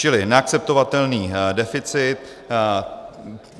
Čili neakceptovatelný deficit.